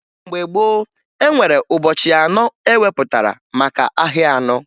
Mgbe gboo, e nwere ụbọchị anọ e wepụtara maka ahịa anọ